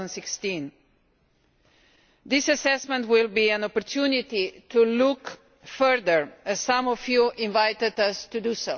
2016. This assessment will be an opportunity to look further, as some of you invited us to do.